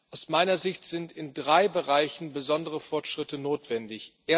Aus meiner Sicht sind in drei Bereichen besondere Fortschritte notwendig.